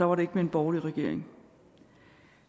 var det ikke med en borgerlig regering